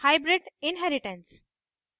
hybrid inheritance